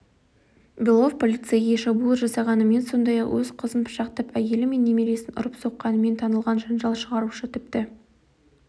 белов полицейге шабуыл жасағанымен сондай-ақ өз қызын пышақтап әйелі мен немересін ұрып-соққанымен танылған жанжал шығарушы тіпті